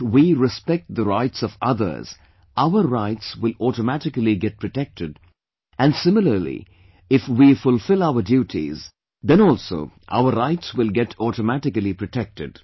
If we respect the rights of others, our rights will automatically get protected and similarly if we fulfill our duties, then also our rights will get automatically protected